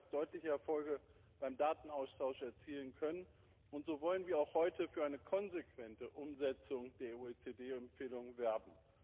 Sie hat bereits deutliche Erfolge beim Datenaustausch erzielen können, und so wollen wir auch heute für eine konsequente Umsetzung der OECD Empfehlung werben.